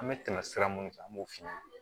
An bɛ tɛmɛ sira mun fɛ an b'o f'i ɲɛna